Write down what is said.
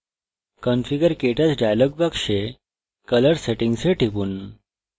configurektouch dialog box color settings এ টিপুন